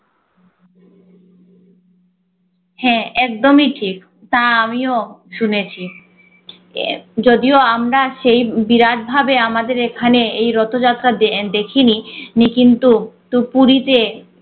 হ্যাঁ একদমই ঠিক তা আমিও শুনেছি যদিও আমরা সেই বিরাট ভাবে আমাদের এখানে এই রথযাত্রা দে~ দেখিনি নি কিন্তু টুপুরিতে